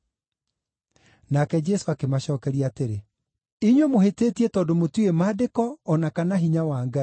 Nake Jesũ akĩmacookeria atĩrĩ, “Inyuĩ mũhĩtĩtie tondũ mũtiũĩ Maandĩko o na kana hinya wa Ngai.